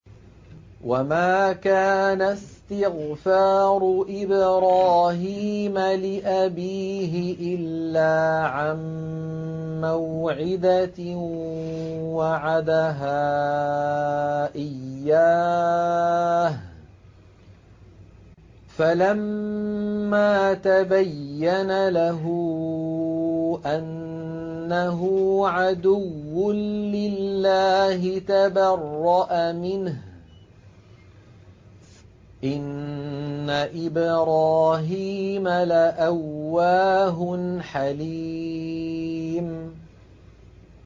وَمَا كَانَ اسْتِغْفَارُ إِبْرَاهِيمَ لِأَبِيهِ إِلَّا عَن مَّوْعِدَةٍ وَعَدَهَا إِيَّاهُ فَلَمَّا تَبَيَّنَ لَهُ أَنَّهُ عَدُوٌّ لِّلَّهِ تَبَرَّأَ مِنْهُ ۚ إِنَّ إِبْرَاهِيمَ لَأَوَّاهٌ حَلِيمٌ